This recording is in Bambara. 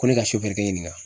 Ko ne ka sofɛrikɛ ɲininka.